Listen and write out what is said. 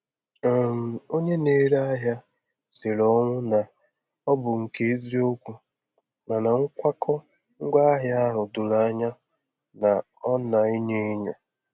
um Onye na-ere ahịa siri ọnwụ na ọ bụ nke eziokwu, mana nkwakọ ngwaahịa ahụ doro anya na ọ na-enyo enyo.